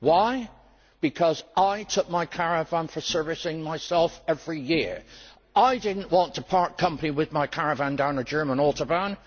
Why? Because I took my caravan for servicing myself every year. I did not want to part company with my caravan down a German autobahn.